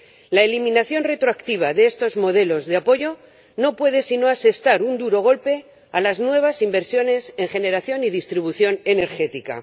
La eliminación retroactiva de estos modelos de apoyo no puede sino asestar un duro golpe a las nuevas inversiones en generación y distribución energética.